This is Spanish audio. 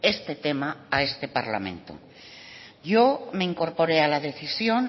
este tema a este parlamento yo me incorporé a la decisión